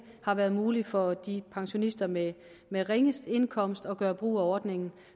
været muligt for de pensionister med med ringest indkomst at gøre brug af ordningen